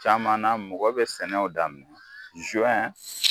Caman na, mɔgɔ bɛ sɛnɛw daminɛ jɔn.